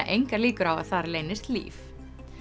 engar líkur á að þar leynist líf